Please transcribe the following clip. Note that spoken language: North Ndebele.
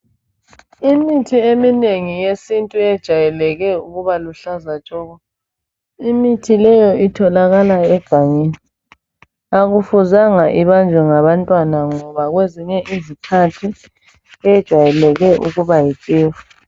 Imithi eminengi yesintu ejwayele ukuba luhlaza tshoko. Imithi leyi itholakala egangeni. Akufuzanga ibanjwe ngabantwana ngoba kwezinye izikhathi ukuba yi tshefu.